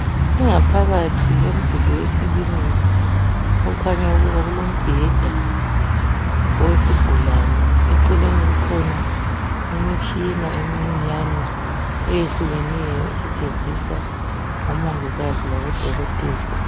Ingaphakathi yomduli wekilinika okukhanya ukuba kulombheda owesigulane eceleni kukhona imitshina emincinyane eyehlukeneyo esetshenziswa ngomongikazi labodokotela.